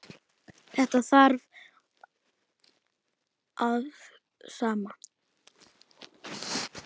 Þetta þarf að fara saman.